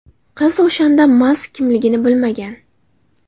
Qiz o‘shanda Mask kimligini bilmagan.